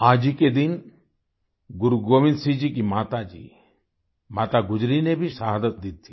आज ही के दिन गुरु गोविंद सिंह जी की माता जी माता गुजरी ने भी शहादत दी थी